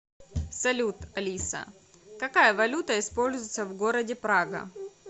салют алиса какая валюта используется в городе прага